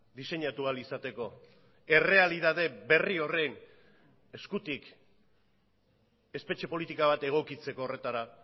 diseinatu ahal izateko errealitate berri horren eskutik espetxe politika bat egokitzeko horretara